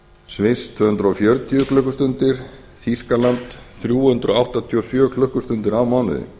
sviss tvö hundruð fjörutíu klukkustundir og þýskalandi þrjú hundruð áttatíu og sjö klukkustundir á mánuði